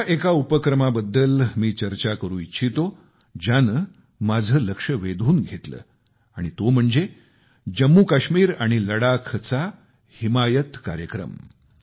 अशा एका उपक्रमाबद्दल मी चर्चा करू इच्छितो ज्याने माझे लक्ष वेधून घेतले आणि तो उपक्रम म्हणजे जम्मूकाश्मीर आणि लडाखचा हिमायत कार्यक्रम